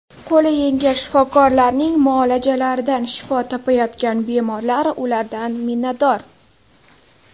Qo‘li yengil shifokorlarning muolajalaridan shifo topayotgan bemorlar ulardan minnatdor.